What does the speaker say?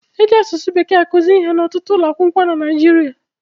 E ji asụsụ Bekee akụzi ihe n'ọtụtụ ụlọ akwụkwọ na Naịjirịa